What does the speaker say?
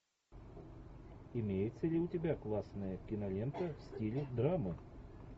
имеется ли у тебя классная кинолента в стиле драма